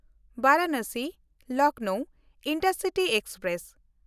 ᱵᱟᱨᱟᱱᱟᱥᱤ-ᱞᱚᱠᱷᱱᱚᱣ intercity express